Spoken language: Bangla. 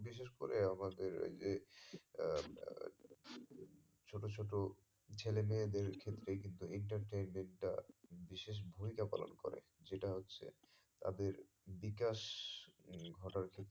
বিশেষ করে আমাদের ওই যে আহ আহ ছোট ছোট ছেলে মেয়েদের ক্ষেত্রে কিন্তু entertainment টা বিশেষ ভূমিকা পালন করে যেটা হচ্ছে তাদের বিকাশ উম ঘটার